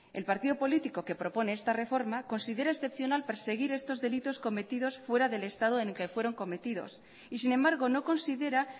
el partido político que propone esta reforma considera excepcional perseguir estos delitos cometidos fuera del estado en el que fueron cometidos y sin embargo no considera